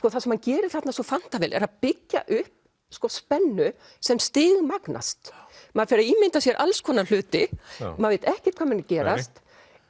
það sem hann gerir þarna svo fanta vel er að byggja upp spennu sem stigmagnast maður fer að ímynda sér alls konar hluti maður veit ekkert hvað muni gerast